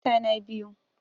Mata na biyu?